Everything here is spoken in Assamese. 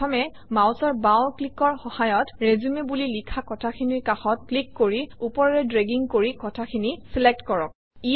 প্ৰথমে মাউচৰ বাওঁ ক্লিকৰ সহায়ত ৰিচিউম বুলি লিখা কথাখিনিৰ কাষত ক্লিক কৰি ওপৰেৰে ড্ৰেগিং কৰি কথাখিনি চিলেক্ট কৰক